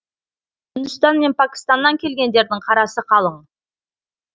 үндістан мен пәкістаннан келгендердің қарасы қалың